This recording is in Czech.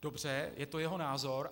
Dobře, je to jeho názor.